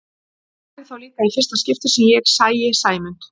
Það væri þá líka í fyrsta skipti sem ég sæi Sæmund